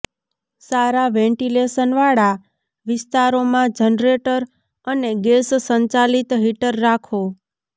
સારા વેન્ટિલેશનવાળા વિસ્તારોમાં જનરેટર અને ગેસ સંચાલિત હીટર રાખો